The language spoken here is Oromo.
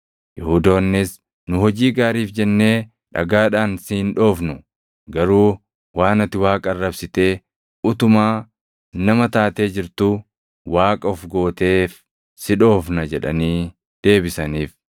Yihuudoonnis, “Nu hojii gaariif jennee dhagaadhaan si hin dhoofnu; garuu waan ati Waaqa arrabsitee utumaa nama taatee jirtuu Waaqa of gooteef si dhoofna” jedhanii deebisaniif.